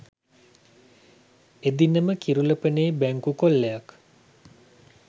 එදිනම කිරුළපනේ බැංකු කොල්ලයක්